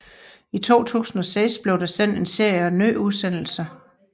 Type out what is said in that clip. I 2006 blev der sendt en serie af nye udsendelser